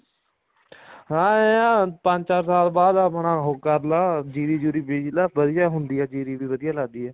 ਹਾਂ ਏਂ ਆ ਪੰਜ ਚਾਰ ਸਾਲ ਬਾਅਦ ਆਪਣਾ ਉਹ ਕਰਲਾ ਜੀਰੀ ਜੂਰੀ ਬਿਜਲਾ ਵਧੀਆ ਹੁੰਦੀ ਆ ਜੀਰੀ ਵੀ ਵਧੀਆ ਲੱਗਦੀ ਆ